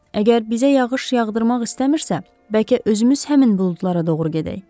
Əgər bizə yağış yağdırmaq istəmirsə, bəlkə özümüz həmin buludlara doğru gedək?